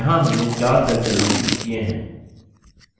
यहाँ हमने 4 cells चिन्हांकित किए हैं